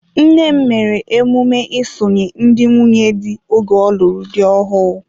Nnem mere emume isonye ndị nwunye di oge ọlụrụ dị ọhụụ.